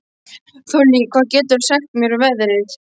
Þollý, hvað geturðu sagt mér um veðrið?